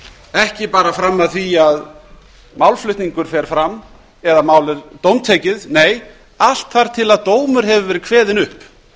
ekki bara fram að því að málflutningur fer fram eða málið dómtekið nei allt þar til dómur hefur verið kveðinn upp